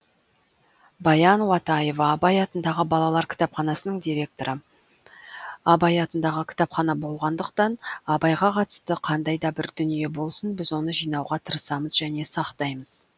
баян уатаева абай атындағы балалар кітапханасының директоры абай атындағы кітапхана болғандықтан абайға қатысты қандай да бір дүние болсын біз оны жинауға тырысамыз және сақтаймыз